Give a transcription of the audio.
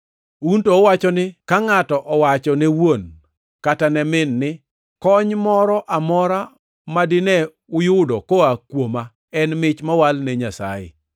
Un to uwacho ni ka ngʼato owacho ne wuon kata ne min ni, ‘Kony moro amora ma dine uyudo koa kuoma en mich mowal ne Nyasaye,’